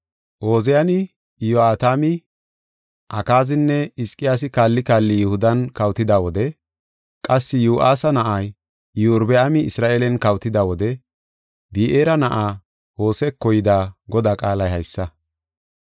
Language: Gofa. Ooziyani, Iyo7atami, Akaazinne Hizqiyaasi kaalli kaalli Yihudan kawotida wode qassi Yo7aasa na7ay Iyorbaami Isra7eelen kawotida wode Bi7eera na7aa Hoseko yida Godaa qaalay haysa.